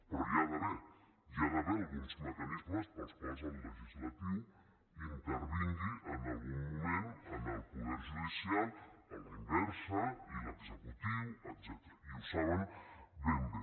però hi ha d’haver hi ha d’haver alguns mecanismes pels quals el legislatiu intervingui en algun moment en el poder judicial a la inversa i l’executiu etcètera i ho saben ben bé